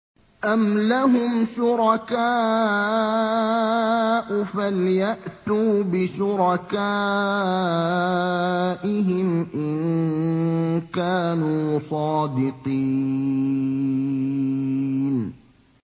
أَمْ لَهُمْ شُرَكَاءُ فَلْيَأْتُوا بِشُرَكَائِهِمْ إِن كَانُوا صَادِقِينَ